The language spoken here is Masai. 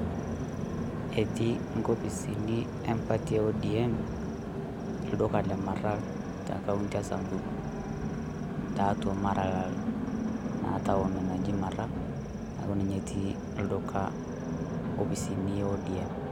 Etii inkopisini e mparty e ODM olduka le ,Maralal te county e Samburu tiatua Maralal, naa town naji Maralal, neeku ninye etii olduka opisini e ODM.